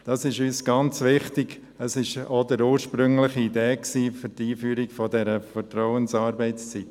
Das ist uns sehr wichtig, und es entspricht der ursprünglichen Idee zur Einführung der Vertrauensarbeitszeit.